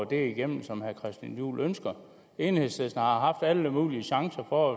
det igennem som herre christian juhl ønsker enhedslisten har haft alle mulige chancer for